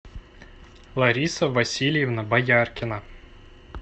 лариса васильевна бояркина